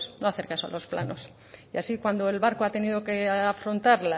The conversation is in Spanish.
no hacer caso a los planos y así cuando el barco ha tenido que afrontar